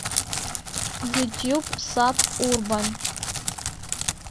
ютуб саб урбан